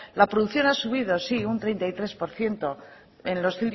la producción ha subido sí un treinta y tres por ciento en los